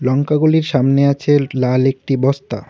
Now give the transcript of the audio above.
লঙ্কাগুলির সামনে আছে লাল একটি বস্তা।